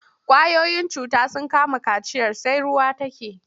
Ƙwayoyin cuta sun kama kaciyar sai ruwa take.